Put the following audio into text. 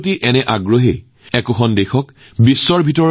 সাগৰৰ পাৰ নথকা এই প্ৰতিযোগিতাত মধ্যপ্ৰদেশেও সৰ্বাধিক পদক লাভ কৰে